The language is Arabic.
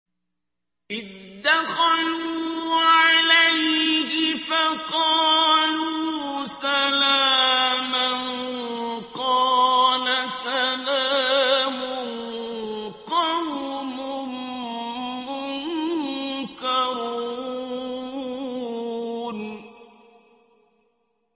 إِذْ دَخَلُوا عَلَيْهِ فَقَالُوا سَلَامًا ۖ قَالَ سَلَامٌ قَوْمٌ مُّنكَرُونَ